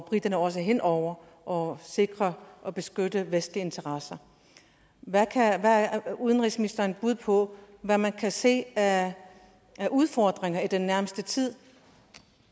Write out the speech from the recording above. briterne også er hen over og sikrer og beskytter vestlige interesser hvad er udenrigsministerens bud på hvad man kan se af udfordringer i den nærmeste tid